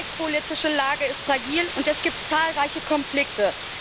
Die weltpolitische Lage ist fragil, und es gibt zahlreiche Konflikte.